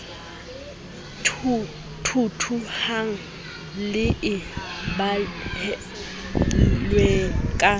thuthuhang le e behilweng ka